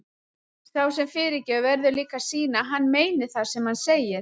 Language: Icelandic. Sá sem fyrirgefur verður líka að sýna að hann meini það sem hann segir.